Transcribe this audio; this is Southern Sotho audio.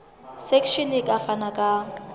section e ka fana ka